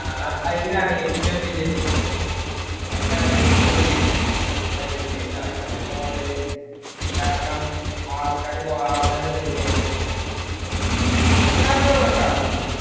ആയിനാണ് ഏറ്റവും വലിയ business. ആയിനാണ് ഏറ്റവും വലിയ business. മറ്റേതിന്റെ നടക്കണത് online ഇൽ കാരണം ആൾക്കാര് വാങ്ങണത് main ആയിട്ടു food അല്ലെ. പക്ഷെ നമ്മടെ ഇവിടൊക്കെ അങ്ങിനെ ആണോ